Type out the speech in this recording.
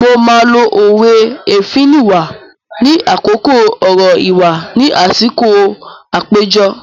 Mo máa lo òwe "Èéfín nìwà" ní àkókò ọ̀rọ̀ ìwà ni àsìkò àpéjọ.